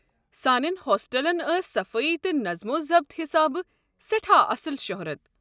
سانٮ۪ن ہوسٹلن ٲس صفٲیی تہٕ نطم و ضبت حسابہٕ سٮ۪ٹھاہ اصٕل شۄہرت۔